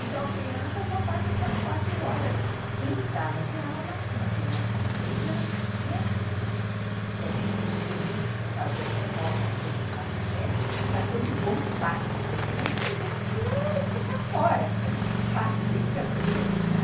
Então, a criança só passa essas quatro horas em sala de aula, uma criança de três anos, né, que a gente lutou muito para fazer as reformas todas lá na creche, para ter um bom pátio, porque criança pequena precisa ficar fora, pátio, brincando mesmo, né.